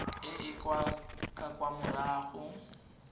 e e ka kwa morago